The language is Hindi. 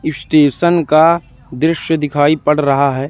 स्टेशन का दृश्य दिखाई पड़ रहा है।